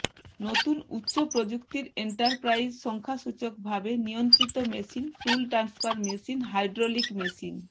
নতুন উচ্চ প্রযুক্তির এন্টারপ্রাইজ সংখ্যাসূচকভাবে নিয়ন্ত্রিত machine tool transfer machine hydraulic machine